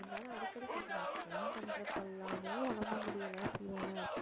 இருந்தாலும் அடிக்கடி சொல்லிட்டு நான் phone பண்றப்பெல்லாமே உடம்பு முடியலை fever ஆ இருக்கு